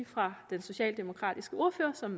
fra den socialdemokratiske ordfører som